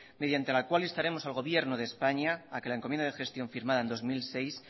mediante la cual instaremos al gobierno de españa a que la encomienda de gestión firmada en dos mil seis